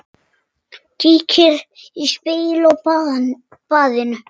Kíkir í spegil á baðinu.